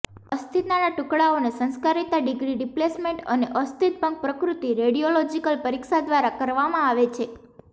અસ્થિના ટુકડાઓને સંસ્કારિતા degree displacement અને અસ્થિભંગ પ્રકૃતિ રેડિયોલોજીકલ પરીક્ષા દ્વારા કરવામાં આવે છે